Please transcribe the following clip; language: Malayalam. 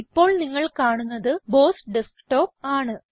ഇപ്പോൾ നിങ്ങൾ കാണുന്നത് ബോസ് ഡെസ്ക്ടോപ്പ് ആണ്